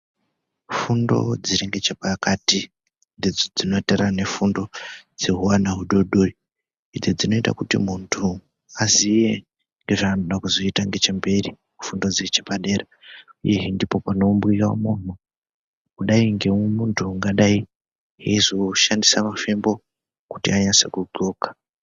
Fundo dziri ngechepakati ndidzo dzinotora nefundo dzehuana hudodori idzo dzinoita kuti muntu aziye zvaanoda kuzoita ngechemberi fundo dzechepadwra uyezve ndipo panoumbira munhu kudai ngemuntu ungadai eizoshandisa mafembo kuti anyase kudxoka.